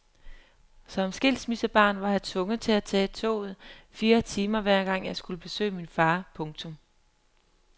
Som skilsmissebarn var jeg tvunget til at tage toget fire timer hver gang jeg skulle besøge min far. punktum